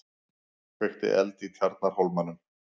Kveikti eld í Tjarnarhólmanum